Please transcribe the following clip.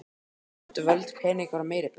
Lönd, völd, peningar og meiri peningar.